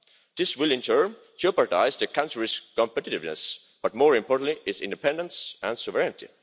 This will in turn jeopardise the country's competitiveness, but more importantly, its independence and sovereignty.